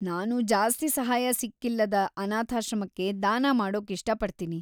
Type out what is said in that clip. ನಾನು ಜಾಸ್ತಿ ಸಹಾಯ ಸಿಕ್ಕಿಲ್ಲದ ಅನಾಥಾಶ್ರಮಕ್ಕೆ ದಾನ ಮಾಡೋಕಿಷ್ಟ ಪಡ್ತೀನಿ.